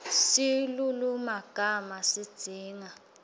silulumagama sidzinga